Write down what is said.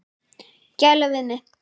Gæla við mig.